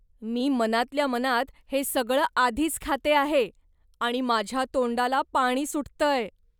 मी मनातल्या मनात हे सगळं आधीच खाते आहे आणि माझ्या तोंडाला पाणी सुटतंय.